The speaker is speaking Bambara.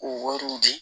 K'o wariw di